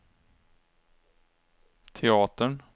teatern